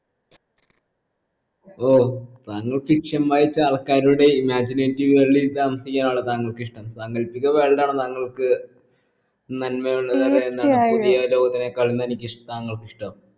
ഓഹ് താങ്കൾ fiction വായിച്ച ആൾക്കാരുടെ imaginative world ൽ താമസിക്കാണോ താങ്കൾക്ക് ഇഷ്ടം സാങ്കൽപ്പിക world ആണോ താങ്കൾക്ക് നന്മയുള്ള പുതിയ ലോകത്തിനേക്കാൾ തനിയ്‌ക്കിഷ്‌ താങ്കൾക് ഇഷ്ട്ടം